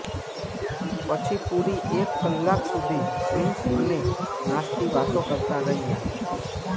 પછી પૂરી એક કલાક સુધી પ્રિન્સ અને નાસ્તિ વાતો કરતાં રહ્યાં